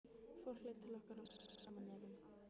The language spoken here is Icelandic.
Fólk leit til okkar og stakk saman nefjum.